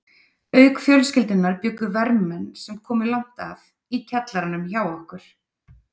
Auk fjölskyldunnar bjuggu vermenn, sem komu langt að, í kjallaranum hjá okkur.